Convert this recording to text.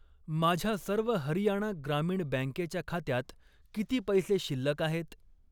माझ्या सर्व हरियाणा ग्रामीण बँकेच्या खात्यात किती पैसे शिल्लक आहेत?